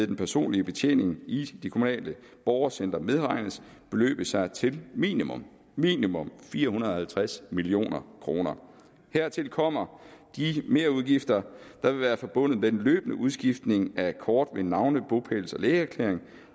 den personlige betjening i det kommunale borgercenter medregnes beløbe sig til minimum minimum fire hundrede og halvtreds million kroner hertil kommer de merudgifter der vil være forbundet med den løbende udskiftning af kort med navne bopæls og lægeerklæringer